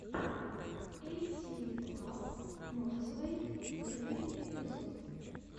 эйтиви клаб норзвэй первый эпизод